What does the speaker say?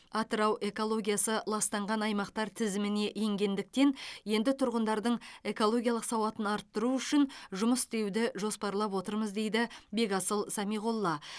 атырау экологиясы ластанған аймақтар тізіміне енгендіктен енді тұрғындардың экологиялық сауатын арттыру үшін жұмыс істеуді жоспарлап отырмыз дейді бекасыл самиғолла